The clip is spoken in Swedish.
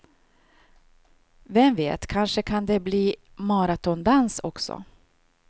Vem vet, kanske kan det bli maratondans också.